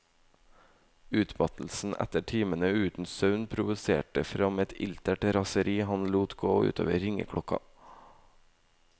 Utmattelsen etter timene uten søvn provoserte fram et iltert raseri han lot gå utover ringeklokka.